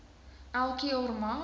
elke jaar mag